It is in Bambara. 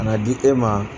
Ka na di e ma